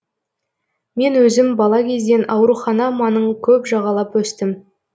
мен өзім бала кезден аурухана маңын көп жағалап өстім